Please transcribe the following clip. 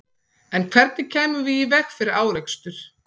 En hvernig kæmum við í veg fyrir árekstur?